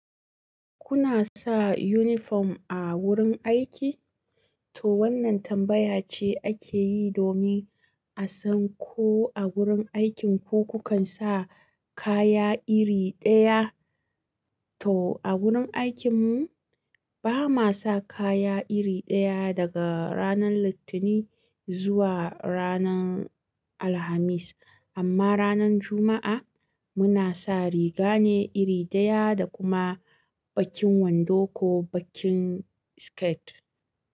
Kuna sa uniform a wurin aiki? To wannan tambaya ce ake yi domin a san ko a wurin aikinku kukan sa kaya iri ɗaya. To a wurin aikinmu bama sa kaya iri ɗaya daga ranar Litinin zuwa ranar Alhamis, amma ranar Juma'a muna sa riga ne iri ɗaya da kuma bakin wando ko bakin skirt.